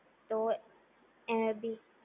તો એ બી